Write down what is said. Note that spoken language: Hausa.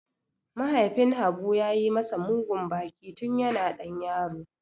Mahaifin Habu ya yi masa mugun baki tun yana ɗan yaro.